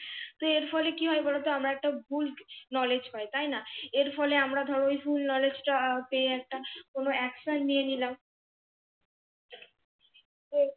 তো এর ফলে কি বলত, আমরা একটা ভুল KNOWLEDGE পাই, তাই না? এর ফলে আমরা ধরে এই ভুল KNOWLEDGE টা পেয়ে একটা কোন ACTION নিয়ে নিলাম।